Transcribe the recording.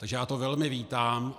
Takže já to velmi vítám.